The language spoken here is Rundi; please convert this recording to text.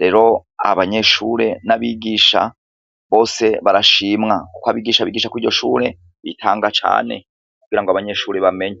Rero abanyeshure n'abigisha bose barashimwa kuko abigisha bigisha kwiryo shure bitanga cane kugirango abanyeshure bamenye.